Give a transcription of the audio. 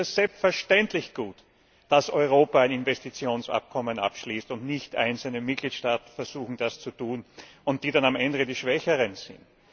Deshalb ist es selbstverständlich gut, dass Europa ein Investitionsabkommen abschließt und nicht einzelne Mitgliedstaaten versuchen, das zu tun, und sie dann am Ende die Schwächeren sind.